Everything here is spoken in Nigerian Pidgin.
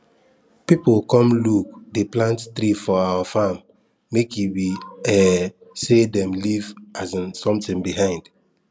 people come look dey plant tree for our farm make e be um say dem leave um something behind